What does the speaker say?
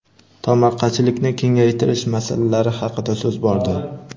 tomorqachilikni kengaytirish masalalari haqida so‘z bordi.